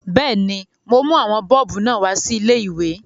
Bẹ́ẹ̀ni, mo mú àwọn bọ́ọ̀bù náà wá sí ilé-ìwé